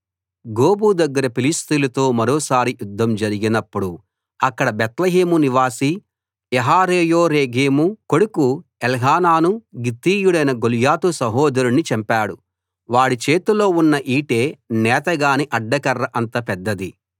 గోబు దగ్గర ఫిలిష్తీయులతో మరోసారి యుద్ధం జరిగినప్పుడు అక్కడ బేత్లెహేము నివాసి యహరేయోరెగీము కొడుకు ఎల్హానాను గిత్తీయుడైన గొల్యాతు సహోదరుణ్ణి చంపాడు వాడి చేతిలో ఉన్న ఈటె నేతగాని అడ్డకర్ర అంత పెద్దది